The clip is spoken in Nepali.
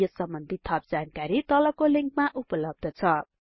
यस सम्बन्धि थप जानकारी तलको लिंकमा उपलब्ध छ